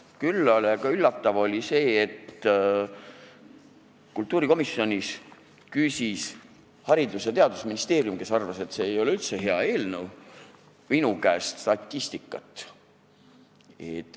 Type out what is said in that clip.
Küll aga oli üllatav, et kultuurikomisjonis küsis Haridus- ja Teadusministeeriumi esindaja, kes arvas, et see ei ole üldse hea eelnõu, minu käest statistikat.